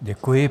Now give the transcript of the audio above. Děkuji.